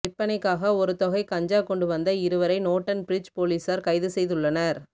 விற்பனைக்காக ஒருத்தொகை கஞ்சா கொண்டு வந்த இருவரை நோட்டன் பிரிட்ஜ் பொலிஸார் கைது செய்துள்ளனர்